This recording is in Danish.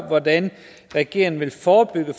hvordan regeringen vil forebygge